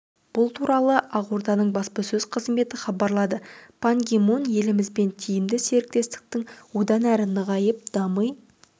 бұл туралы ақорданың баспасөз қызметі хабарлады пан ги мун елімізбен тиімді серіктестіктің одан әрі нығайып дами